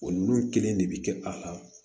O nunnu kelen de bi kɛ a la